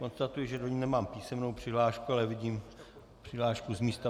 Konstatuji, že do ní nemám písemnou přihlášku, ale vidím přihlášku z místa.